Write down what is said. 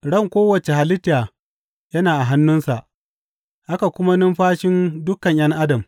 Ran kowace halitta yana a hannunsa, haka kuma numfashin dukan ’yan adam.